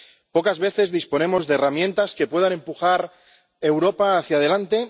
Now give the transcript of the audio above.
Pocas veces disponemos de herramientas que puedan empujar Europa hacia adelante